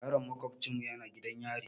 Yaron maƙofcinmu yana gidan yari.